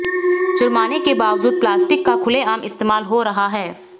जुर्माने के बावजूद प्लास्टिक का खुलेआम इस्तेमाल हो रहा है